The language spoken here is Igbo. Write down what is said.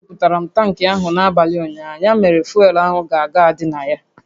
A gbajuputara m tankị ahụ n'abalị ụnyaahụ, ya mere fuel ahụ ka ga-adị na ya